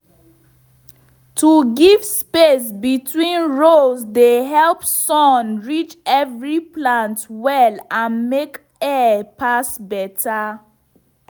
to give space between rows dey help sun reach every plant well and make air pass better.